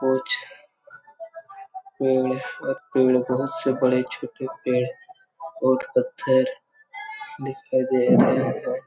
कुछ पेड़ और पेड़ बहोत से बड़े-छोटे पेड़ और पत्थर दिखाई दे रहे है।